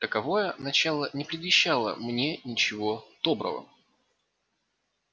таковое начало не предвещало мне ничего доброго